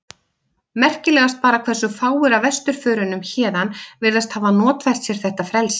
Merkilegast bara hversu fáir af vesturförunum héðan virðast hafa notfært sér þetta frelsi.